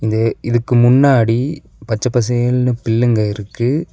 இது இதுக்கு முன்னாடி பச்ச பசேல்னு பில்லுங்க இருக்கு.